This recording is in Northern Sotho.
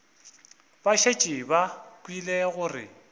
ba šetše ba kwele gore